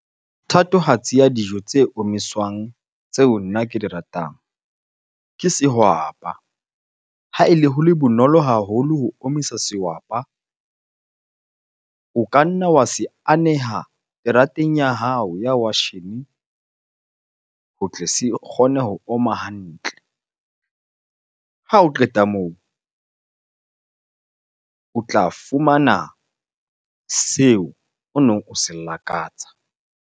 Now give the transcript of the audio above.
Thatohatsi ya dijo tse omiswang tseo nna ke di ratang, ke sehwapa. Ha ele ho le bonolo haholo ho omisa sehwapa, o ka nna wa se aneha terateng ya hao ya washene ho tle se kgone ho oma hantle. Ha o qeta moo, o tla fumana seo o neng o se lakatsa.